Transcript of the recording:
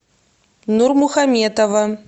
нурмухаметова